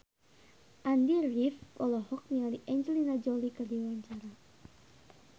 Andy rif olohok ningali Angelina Jolie keur diwawancara